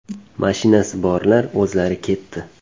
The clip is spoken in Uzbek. Mashinasi borlar o‘zlari ketdi.